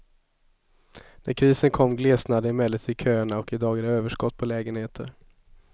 När krisen kom glesnade emellertid köerna och idag är det överskott på lägenheter.